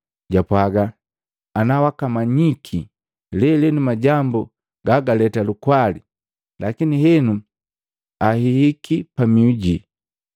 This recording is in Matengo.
Japwaaga, “Ana wakamanyiki lelenu majambu gagaleta lukwali! Lakini henu ahihiki pamihu jii.